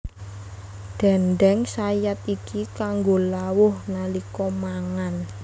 Déndéng sayat iki kanggo lawuh nalika mangan